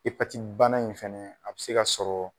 bana in fɛnɛ a bɛ se ka sɔrɔ